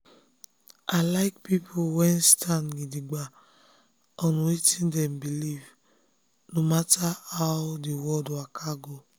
i like people wey stand gidigba on wetin dem believe no matter how the world waka go.